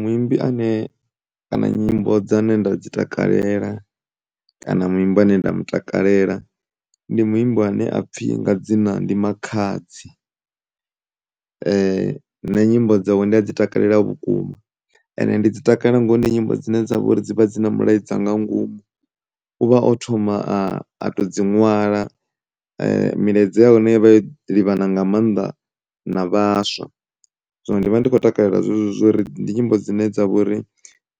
Muimbi ane kana nyimbo dzane nda dzi takalela kana muimbi ane nda mu takalela ndi muimbi ane apfhi nga dzina ndi Makhadzi nne nyimbo dzawe ndi a dzi takalela vhukuma ende ndi dzi takalela ngauri ndi nyimbo dzine dza vho ri dzi na mulaedza nga ngomu. U vha o thoma a to dzi ṅwala milaedza ya hone i vha yo livhana nga mannḓa na vhaswa, zwino ndi vha ndi kho takalela zwezwo zwori ndi nyimbo dzine dza vha uri